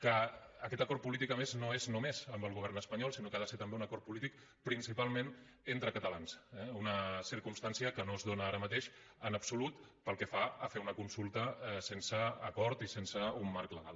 que aquest acord polític a més no és només amb el govern espanyol sinó que ha de ser també un acord polític principalment entre catalans eh una circumstància que no es dóna ara mateix en absolut pel que fa a fer una consulta sense acord i sense un marc legal